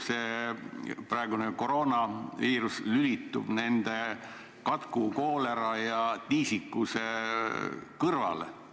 See praegune koroonaviirus lülitub ju katku, koolera ja tiisikuse kõrvale.